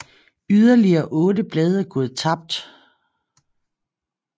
Yderligere otte blade er gået tabt